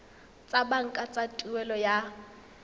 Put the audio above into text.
tsa banka tsa tuelo ya